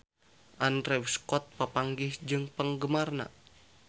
Andrew Scott papanggih jeung penggemarna